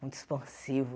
Muito expansivo.